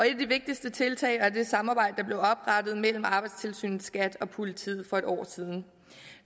et af de vigtigste tiltag er det samarbejde der blev oprettet mellem arbejdstilsynet skat og politiet for et år siden